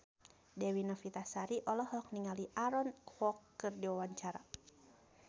Dewi Novitasari olohok ningali Aaron Kwok keur diwawancara